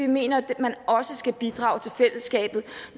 mener at man også skal bidrage til fællesskabet